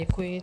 Děkuji.